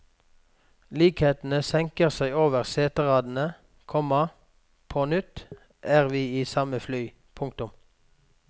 Likheten senker seg over seteradene, komma på nytt er vi i samme fly. punktum